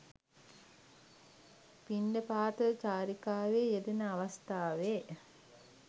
පිණ්ඩපාත චාරිකාවේ යෙදෙන අවස්ථාවේ